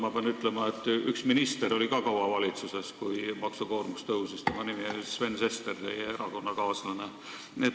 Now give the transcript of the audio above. Ma pean ütlema, et üks minister oli ka kaua valitsuses sel ajal, kui maksukoormus tõusis, tema nimi on Sven Sester ja ta on teie erakonnakaaslane.